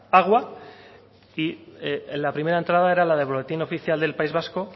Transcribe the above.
agua y la primera entrada era la del boletín oficial del país vasco